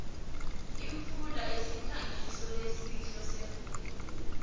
imfula usikhangiso lesihle semvelo